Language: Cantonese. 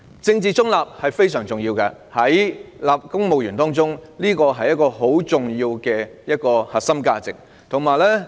政治中立非常重要，是公務員十分重要的核心價值。